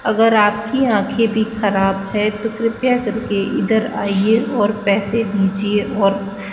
अगर आपकी आंखें भी खराब है तो कृपया करके इधर आइए और पैसे दीजिए और --